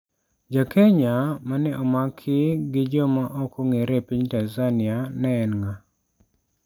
Ja Kenya ma ne omaki gi joma ok ong'ere e piny Tanzania ne en nga'?